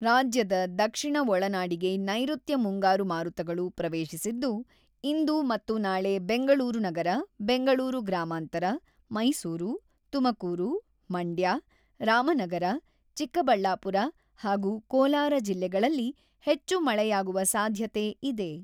ರಾಜ್ಯದ ದಕ್ಷಿಣ ಒಳನಾಡಿಗೆ ನೈರುತ್ಯ ಮುಂಗಾರು ಮಾರುತಗಳು ಪ್ರವೇಶಿಸಿದ್ದು, ಇಂದು ಮತ್ತು ನಾಳೆ ಬೆಂಗಳೂರು ನಗರ, ಬೆಂಗಳೂರು ಗ್ರಾಮಾಂತರ, ಮೈಸೂರು, ತುಮಕೂರು, ಮಂಡ್ಯ, ರಾಮನಗರ, ಚಿಕ್ಕಬಳ್ಳಾಪುರ ಹಾಗೂ ಕೋಲಾರ ಜಿಲ್ಲೆಗಳಲ್ಲಿ ಹೆಚ್ಚು ಮಳೆಯಾಗುವ ಸಾಧ್ಯತೆ ಇದೆ.